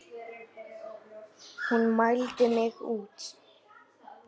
Hún mældi mig út.